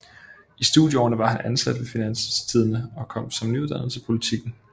I studieårene var han ansat ved Finanstidende og kom som nyuddannet til Politiken